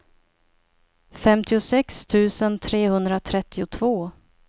femtiosex tusen trehundratrettiotvå